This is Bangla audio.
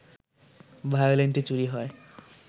ভায়োলিনটি চুরি হয়